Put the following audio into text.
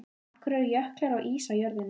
Af hverju eru jöklar og ís á jörðinni?